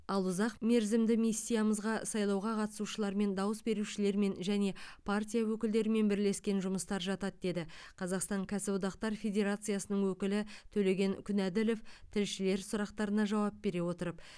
ал ұзақ мерзімді миссиямызға сайлауға қатысушылармен дауыс берушілермен және партия өкілдерімен бірлескен жұмыстар жатады деді қазақстан кәсіподақтар федерациясының өкілі төлеген күнәділов тілшілердің сұрақтарына жауап бере отырып